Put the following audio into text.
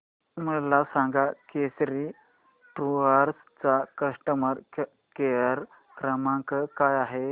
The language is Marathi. मला सांगा केसरी टूअर्स चा कस्टमर केअर क्रमांक काय आहे